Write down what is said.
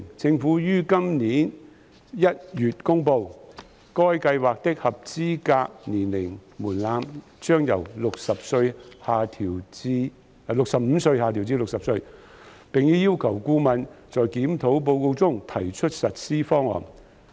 政府於今年1月公布，該計劃的合資格年齡門檻將由65歲下調至60歲，並已要求顧問在檢討報告中提出實施方案。